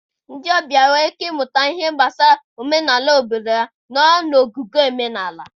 Ndị ọbịa nwere ike ịmụta ihe gbasara omenala obodo ha nọọ na ogige omenala.